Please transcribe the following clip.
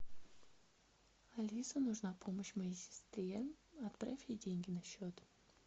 алиса нужна помощь моей сестре отправь ей деньги на счет